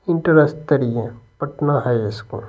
Inter स्तरीय Patna high school.